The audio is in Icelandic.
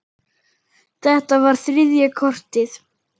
Þetta var þriðja kortið.